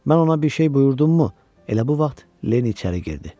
Mən ona bir şey buyurdummu, elə bu vaxt Leni içəri girdi.